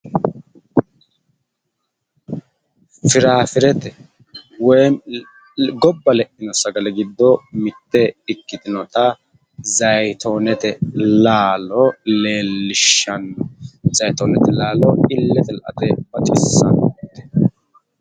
Firaafirete woyimi gobba le'ino sagale giddo mitte ikiktonata zayitoonete laalo leellishshanno zayitoonete laalo illete la"ate baxissanno